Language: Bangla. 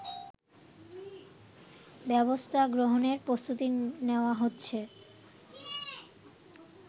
ব্যবস্থা গ্রহণের প্রস্তুতি নেয়া হচ্ছে